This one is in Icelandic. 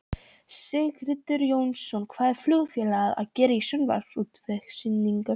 Sigtryggur Jónsson: Hvað er flugfélag að gera á sjávarútvegssýningu?